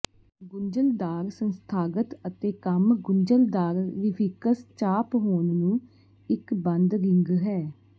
ਗੁੰਝਲਦਾਰ ਸੰਸਥਾਗਤ ਅਤੇ ਕੰਮ ਗੁੰਝਲਦਾਰ ਰੀਫਿਕਸ ਚਾਪ ਹੋਣ ਨੂੰ ਇੱਕ ਬੰਦ ਰਿੰਗ ਹੈ